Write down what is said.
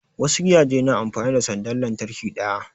Wasu gidajen na amfani da sandar lantarki ɗaya